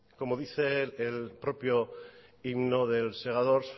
como dice el propio himno del segadors